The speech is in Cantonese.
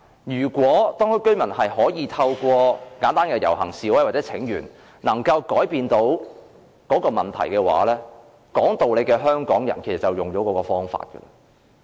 如果當區居民能夠透過簡單的遊行示威或請願來改變問題，說道理的香港人自然會使用這些方法。